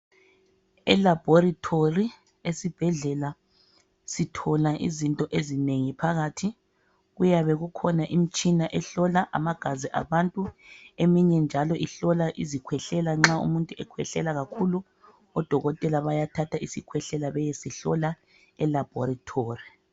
Elaboratory esibhedlela sithola izinto ezinengi phakathi. Kuyabe kukhona imitshina ehlola amagazi abantu, eminye njalo ihlola izikhwehlela. Nxa umuntu ekhwehlela kakhulu odokotela bayathatha isikhwehlela beyehlola elaboratory.